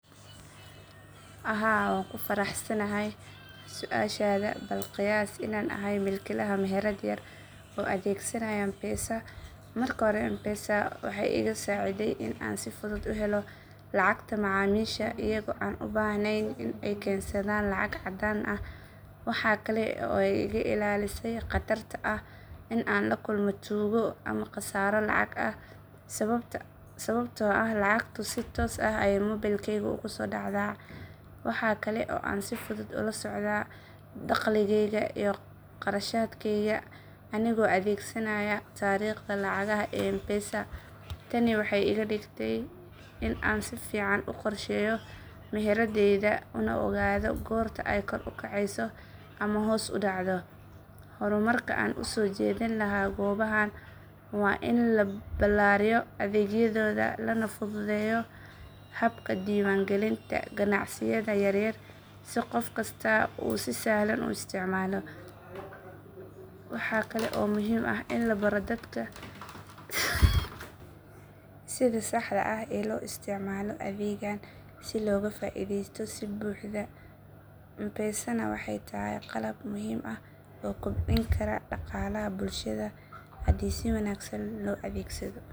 Haa waan ku faraxsanahay su'aashaada. Bal qiyaas inaan ahay milkiilaha meherad yar oo adeegsanaya mpesa. Marka hore mpesa waxay iga saaciday in aan si fudud u helo lacagta macaamiisha iyaga oo aan u baahnayn in ay keensadaan lacag caddaan ah. Waxa kale oo ay iga ilaalisay khatarta ah in aan la kulmo tuugo ama khasaaro lacag ah sababtoo ah lacagtu si toos ah ayay moobilkayga ugu soo dhacdaa. Waxa kale oo aan si fudud ula socdaa dakhligayga iyo kharashaadkayga anigoo adeegsanaya taariikhda lacagaha ee mpesa. Tani waxay iga dhigtay in aan si fiican u qorsheeyo meheraddayda una ogaado goorta ay kor u kacayso ama hoos u dhacdo. Horumarka aan u soo jeedin lahaa goobahan waa in la ballaariyo adeegyadooda lana fududeeyo habka diiwaangelinta ganacsiyada yaryar si qof kastaa uu si sahlan u isticmaalo. Waxa kale oo muhiim ah in la baro dadka sida saxda ah ee loo isticmaalo adeegan si looga faa'iidaysto si buuxda. Mpesana waxay tahay qalab muhiim ah oo kobcin kara dhaqaalaha bulshada haddii si wanaagsan loo adeegsado.